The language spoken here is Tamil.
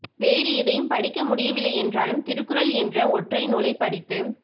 வேறு எதையும் படிக்க முடியவில்லை என்றாலும் திருக்குறள் என்ற ஒற்றை நுாலை படித்து